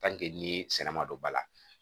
ni sɛnɛ ma don ba la